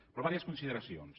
per diverses consideracions